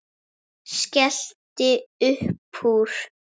Skellti upp úr.